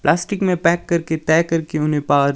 plastic में pack करके तय करके उन्हें पार--